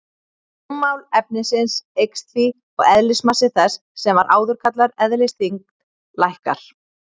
Rúmmál efnisins eykst því og eðlismassi þess, sem var áður kallaður eðlisþyngd, lækkar.